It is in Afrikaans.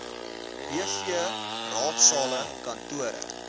bv raadsale kantore